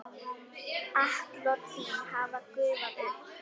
Atlot þín hafa gufað upp.